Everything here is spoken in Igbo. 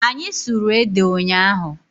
Anyị sụrụ ede ụnyaahụ.